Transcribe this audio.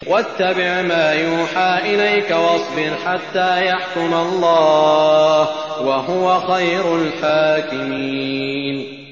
وَاتَّبِعْ مَا يُوحَىٰ إِلَيْكَ وَاصْبِرْ حَتَّىٰ يَحْكُمَ اللَّهُ ۚ وَهُوَ خَيْرُ الْحَاكِمِينَ